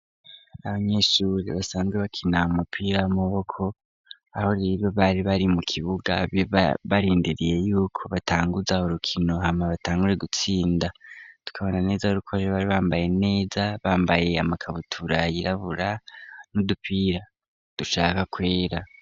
Abanyeshure basanzwe bakina amupira w'amaboko aho rero bari bari mu kibuga barindiriye yuko batanguza urukino hama batangure gutsinda. Tukabona neza rero ko bari bambaye neza, bambaye amakabutura yirabura n'udupira dushaka kwera.